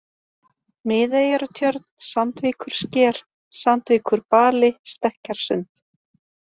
Miðeyjartjörn, Sandvíkursker, Sandvíkurbali, Stekkjarsund